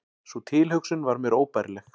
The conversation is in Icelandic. Sú tilhugsun var mér óbærileg.